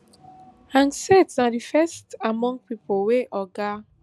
hegseth na di first among pipo wey oga